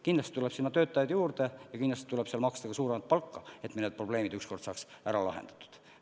Kindlasti tuleb sinna töötajaid juurde ja kindlasti tuleb seal maksta suuremat palka, et mõned probleemid ükskord saaks ära lahendatud.